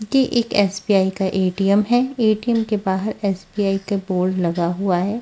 की एक एस_बी_आई का ए_टी_एम है ए_टी_एम के बहार एस_बी_आई का बोर्ड लगा हुआ है।